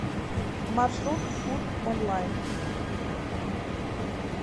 маршрут фуд онлайн